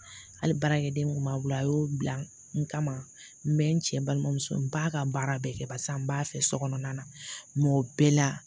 Hali baarakɛden kun b'a bolo a y'o bila n kama n bɛ n cɛ balimamuso n b'a ka baara bɛɛ kɛ barisa n b'a fɛ sokɔnɔna na o bɛɛ la